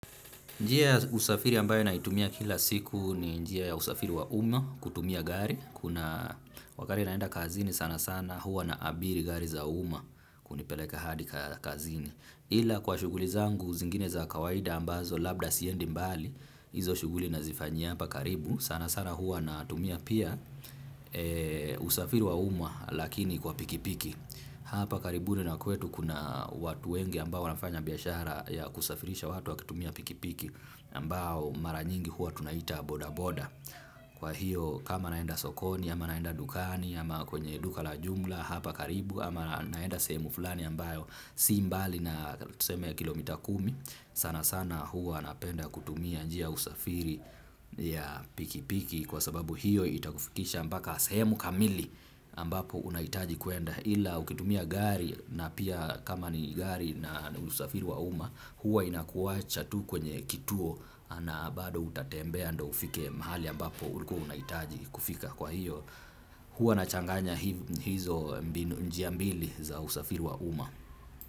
Njia ya usafiri ambayo naitumia kila siku ni njia ya usafiri wa umma kutumia gari. Kuna wakati naenda kazini sana sana hua naabiri gari za umma kunipeleka hadi kazini. Ila kwa shughuli zangu zingine za kawaida ambazo labda siendi mbali. Izo shuguli na zifanya hapa karibu sana sana hua natumia pia usafiri wa uma lakini kwa pikipiki. Hapa karibuni na kwetu kuna watu wengi ambao wanafanya biashara ya kusafirisha watu wakitumia pikipiki ambao mara nyingi huwa tunaita bodaboda kwa hiyo kama naenda sokoni ama naenda dukani ama kwenye duka la jumla hapa karibu ama naenda sehemu fulani ambayo si mbali na tuseme kilomita kumi sana sana huwa napenda kutumia njia usafiri ya pikipiki kwa sababu hiyo itakufikisha mpaka sehemu kamili ambapo unahitaji kuenda ila ukitumia gari na pia kama ni gari na usafiri wa umma huwa inakuwacha tu kwenye kituo na bado utatembea ndio ufike mahali ambapo ulikuwa unahitaji kufika kwa hiyo huwa nachanganya hizo njia mbili za usafiri wa umma.